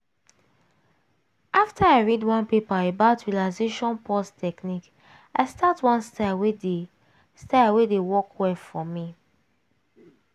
after i read one paper about relaxation pause technique i start one style wey dey style wey dey work well for me